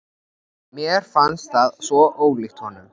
Mér fannst það svo ólíkt honum.